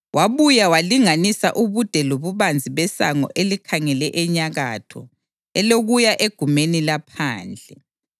Wabuya walinganisa ubude lobubanzi besango elikhangele enyakatho, elokuya egumeni laphandle.